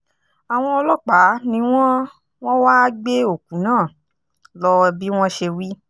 àwọn ọlọ́pàá ni wọ́n wọ́n wáá gbé òkú náà lọ bí wọ́n ṣe wí